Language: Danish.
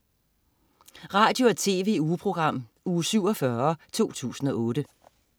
Radio- og TV-ugeprogram Uge 47, 2008